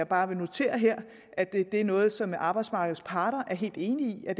bare notere her at det er noget som arbejdsmarkedet parter er helt enige i er